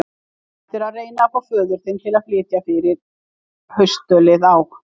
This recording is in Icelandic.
Þú ættir að reyna að fá föður þinn til að flytja fyrir haustölið á